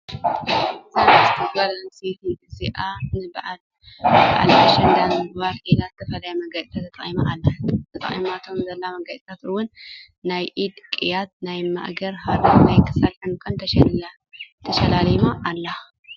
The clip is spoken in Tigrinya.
እዛ ንእስቲ ጓል ኣነስተይቲ አዚኣ ንባይ ባዓል ኣሸንዳ ንምክባር ኢላ ዝተፈላለዩ መጋየፅታት ተጠቂማ ኣላ ። ተጠቂማቶም ዘለው መጋየፂታት እውን ናይ ኢድ ቅየት፣ ናይ ማእገር ሃረ፣ ናይ ክሳድ ዕንቁን ተሸላሊማ ኣላ።